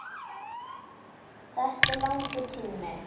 Þetta er langur tími.